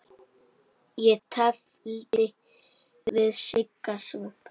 Ég tefldi við Sigga Svamp.